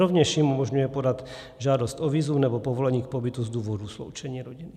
Rovněž jim umožňuje podat žádost o vízum nebo povolení k pobytu z důvodu sloučení rodin.